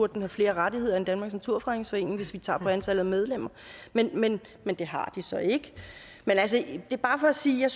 den have flere rettigheder end danmarks naturfredningsforening hvis vi tager fra antallet af medlemmer men men det har de så ikke det er bare for at sige at